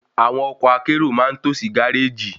Àwọn ọkọ̀ akérò ma n tó sí gáréjì